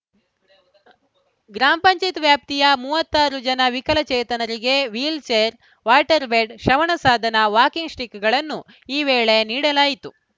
ಗ್ರಾಮ ಪಂಚಾಯೆತ್ ವ್ಯಾಪ್ತಿಯ ಮೂವತ್ತ್ ಆರು ಜನ ವಿಕಲಚೇತನರಿಗೆ ವೀಲ್‌ಛೇರ್‌ ವಾಟರ್‌ ಬೆಡ್‌ ಶ್ರವಣ ಸಾಧನ ವಾಕಿಂಗ್‌ ಸ್ಟಿಕ್‌ಗಳನ್ನು ಈ ವೇಳೆ ನೀಡಲಾಯಿತು